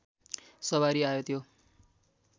सवारी आयो त्यो